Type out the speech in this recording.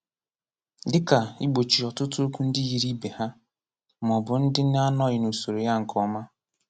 Dịka ị́gbochi ọtụtụ okwu ndị yiri ibé ha, ma ọ bụ ndị na - anọghi n'usoro ya nke ọma.